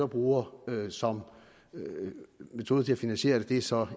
bruger som metode til at finansiere det er så